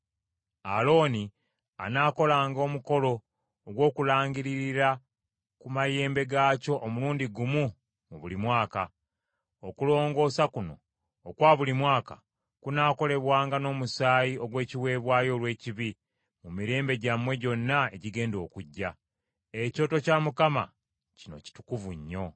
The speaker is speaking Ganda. Alooni anaakolanga omukolo ogw’okulangiririra ku mayembe gaakyo omulundi gumu mu buli mwaka. Okulongoosa kuno okwa buli mwaka kunaakolebwanga n’omusaayi ogw’ekiweebwayo olw’ekibi mu mirembe gyammwe gyonna egigenda okujja. Ekyoto kya Mukama kino kitukuvu nnyo.”